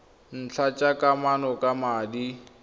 ntlha tsa kamano ka madi